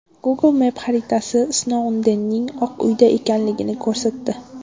Google Maps xaritalari Snoudenning Oq uyda ekanligini ko‘rsatdi.